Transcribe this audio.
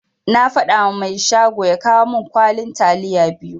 Na fadawa mai shago ya kawo min kwalin taliya biyu.